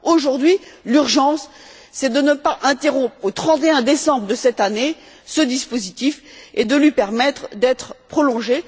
Aujourd'hui, l'urgence c'est de ne pas interrompre au 31 décembre de cette année ce dispositif et de lui permettre d'être prolongé.